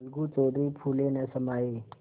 अलगू चौधरी फूले न समाये